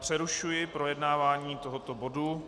Přerušuji projednávání tohoto bodu.